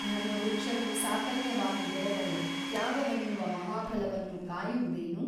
ಧರ್ಮವೃಕ್ಷವು ಸಾಕಲ್ಯವಾಗಿ ಬೆಳೆದರೆ ತ್ಯಾಗವೆನ್ನುವ ಮಹಾಫಲವನ್ನು ಕಾಯುವುದೇನು?